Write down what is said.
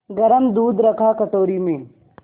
गरम दूध रखा कटोरी में